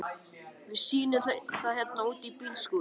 Við sýnum það hérna úti í bílskúr.